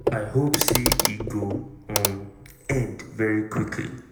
i hope say e go um end very quickly."